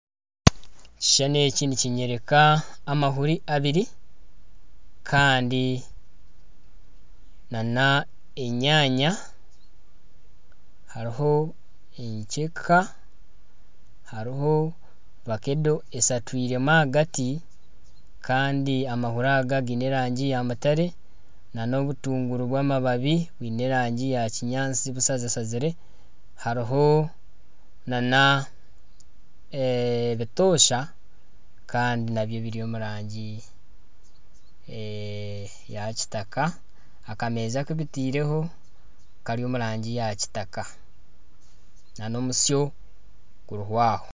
Ekishushani eki nikinyoreka amahuri abari Kandi na enyaanya hariho enkyeka hariho vakedo esatwiremu ahagati Kandi amahuri aga giine erangi ya mutare na Obutunguru bw'amababi bwine erangi ya kinyaantsi bushazashazire hariho na ebitosha nabyo biri omu rangi ya kitaka. Akameza akubitiireho kari omu rangi ya kitaka na omutsyo guriho aho.